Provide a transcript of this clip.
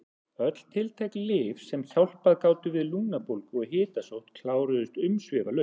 Öll tiltæk lyf sem hjálpað gátu við lungnabólgu og hitasótt kláruðust umsvifalaust.